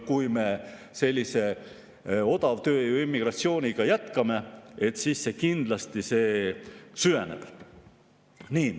Kui me sellise odavtööjõu ja immigratsiooniga jätkame, siis see kindlasti süveneb.